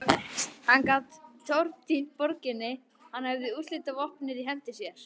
Hann gat tortímt borginni, hann hafði úrslitavopnið í hendi sér.